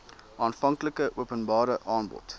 aanvanklike openbare aanbod